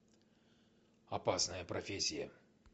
опасная профессия